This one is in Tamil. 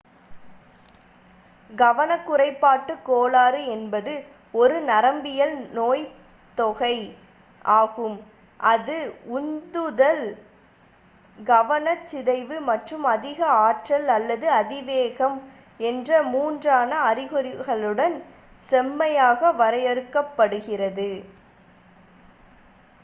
"கவனக் குறைபாட்டுக் கோளாறு என்பது "ஒரு நரம்பியல் நோய்த்தொகை ஆகும் அது உந்துதல் கவனச் சிதைவு மற்றும் அதிக ஆற்றல் அல்லது அதிவேகம் என்ற மூன்றான அறிகுறிகளுடன் செம்மையாக வரையறுக்கப் படுகிறது"".